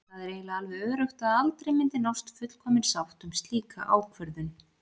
Það er eiginlega alveg öruggt að aldrei myndi nást fullkomin sátt um slíka ákvörðun.